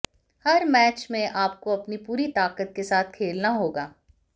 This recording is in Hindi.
हर मैच में आपको अपनी पूरी ताकत के साथ खेलना होगा